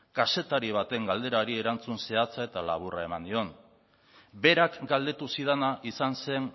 kazetari baten galderari erantzun zehatza eta laburra eman nion berak galdetu zidana izan zen